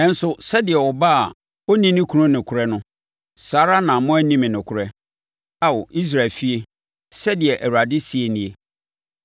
Nanso, sɛdeɛ ɔbaa a ɔnni ne kunu nokorɛ no, saa ara na moanni me nokorɛ, Ao Israel efie,” sɛdeɛ Awurade seɛ nie.